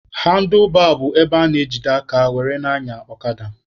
Handlụbaa bụ ebe a na-ejide aka were na-anya ọkada.